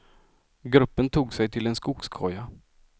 Gruppen tog sig till en skogskoja.